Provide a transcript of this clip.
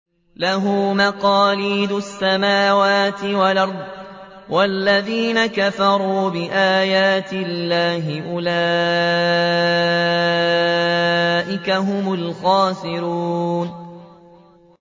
لَّهُ مَقَالِيدُ السَّمَاوَاتِ وَالْأَرْضِ ۗ وَالَّذِينَ كَفَرُوا بِآيَاتِ اللَّهِ أُولَٰئِكَ هُمُ الْخَاسِرُونَ